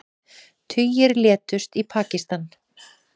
Tugir létust í Pakistan